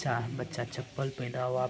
बच्चा चप्पल पहिना हुआ --